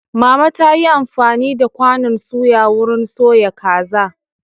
Mama ta yi amfani da kwanan suya wurin soya kaza.